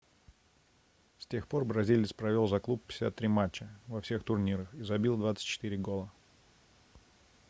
с тех пор бразилец провел за клуб 53 матча во всех турнирах и забил 24 гола